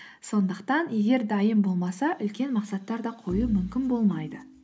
сондықтан егер дайын болмаса үлкен мақсаттар да қою мүмкін болмайды